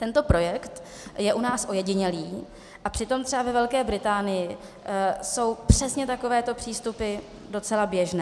Tento projekt je u nás ojedinělý a přitom třeba ve Velké Británii jsou přesně takovéto přístupy docela běžné.